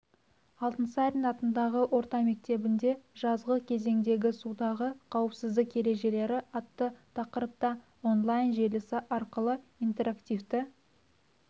алтынсарин атындағы орта мектебінде жазғы кезеңдегі судағы қауіпсіздік ережелері атты тақырыпта он-лайн желісі арқылы интерактивті